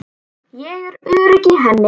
Ég er örugg í henni.